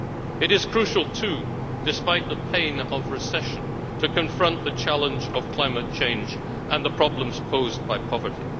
It is crucial too, despite the pain of recession, to confront the challenge of climate change and the problems posed by poverty.